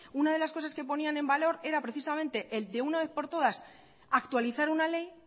una de las cosas que ponían en valor era precisamente el de una vez por todas actualizar una ley